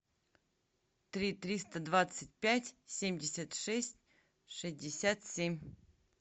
три триста двадцать пять семьдесят шесть шестьдесят семь